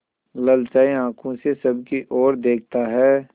ललचाई आँखों से सबकी और देखता है